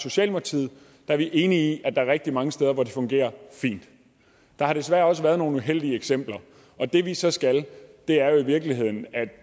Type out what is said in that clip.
socialdemokratiet er vi enig i at der er rigtig mange steder hvor det fungerer fint der har desværre også været nogle uheldige eksempler og det vi så skal er jo i virkeligheden at